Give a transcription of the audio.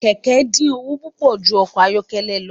Kẹkẹ din owo pupọ ju ọkọ ayọkẹlẹ lọ.